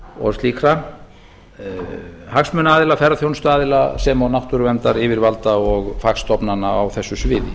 og slíkra hagsmunaaðila ferðaþjónsutaðila sem og náttúruverndaryfirvalda og fagstofnana á þessu sviði